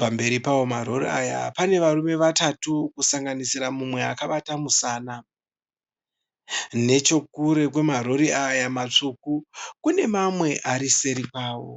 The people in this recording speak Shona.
Pamberi pawo ma rori aya pane varume vatatu kusanganisira mumwe akabata musana. Nechekure kwema rori aya matsvuku kune mamwe ari seri kwawo.